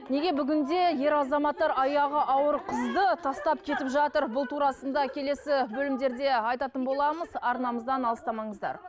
неге бүгінде ер азаматтар аяғы ауыр қызды тастап кетіп жатыр бұл турасында келесі бөлімдерде айтатын боламыз арнамыздан алыстамаңыздар